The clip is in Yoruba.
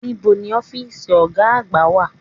Níbo ni ọ́fìsì ọ̀gá àgbà wà?